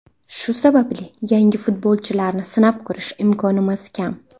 Shu sababli yangi futbolchilarni sinab ko‘rish imkonimiz kam.